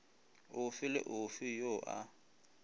ofe le ofe yo a